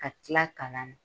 Ka tila kalan na